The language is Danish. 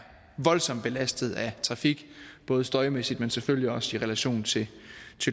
voldsomt belastet af trafik både støjmæssigt men selvfølgelig også i relation til